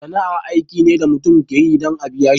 Sana'a aiki ne da mutum ka yi dan a'biya shi.